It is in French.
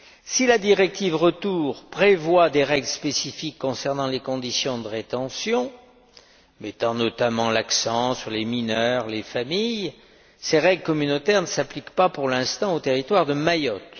Si la directive retour prévoit des règles spécifiques concernant les conditions de rétention, mettant notamment l'accent sur les mineurs et les familles, ces règles communautaires ne s'appliquent pas pour l'instant au territoire de Mayotte.